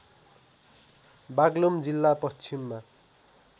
बागलुङ जिल्ला पश्चिममा